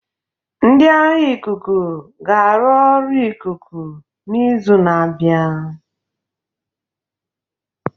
Ndị agha ikuku ga-arụ ọrụ ikuku n'izu na-abịa.